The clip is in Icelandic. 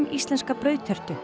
rammíslenska brauðtertu